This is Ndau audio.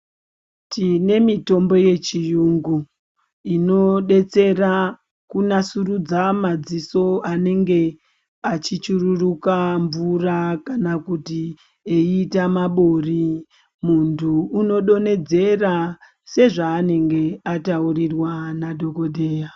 Tine mitombo yechirungu inobetsera kunasurudza madziso anenge achichururuka mvura kana kuti eita mabori muntu anodonhedzera sezvaanenge ataurirwa nadhokodheya.